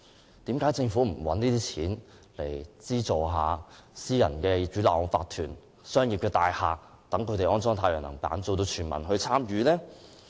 為甚麼政府不利用這些款項來資助私人屋苑的業主立案法團及商業大廈安裝太陽能板，達致全民參與呢？